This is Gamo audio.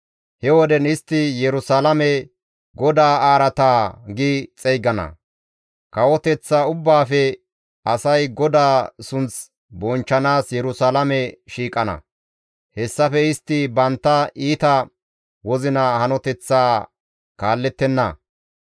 He woden istti Yerusalaame, ‹GODAA araata› gi xeygana. Kawoteththa ubbaafe asay GODAA sunth bonchchanaas Yerusalaame shiiqana. Hessafe istti bantta iita wozina hanoteththaa kaallettenna.